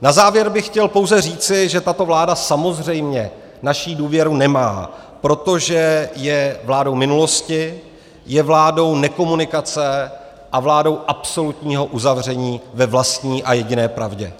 Na závěr bych chtěl pouze říci, že tato vláda samozřejmě naši důvěru nemá, protože je vládou minulosti, je vládou nekomunikace a vládou absolutního uzavření ve vlastní a jediné pravdě.